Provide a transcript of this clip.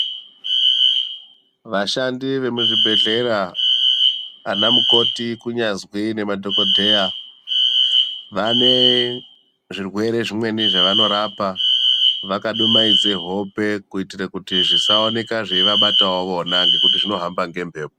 Vashandi vemuzvibhedhlera ana mukoti kunyazwi nemadhokodheya vane zvirwere zvimweni zvavanorapa vakadumaidze hope kuitire kuti zvisaoneka zveivabatawo vona ngekuti zvinohamba ngembepo.